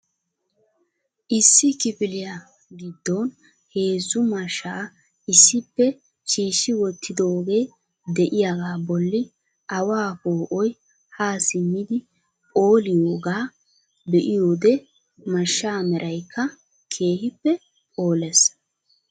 Issi kifiliya giddon heezzu mashsha issippe shiishshi wottidooge de'iyaaga bolli awa poo'oy ha simmidi phooliyaaga be'iyoode mashshaa meraykka keehippe phoolles.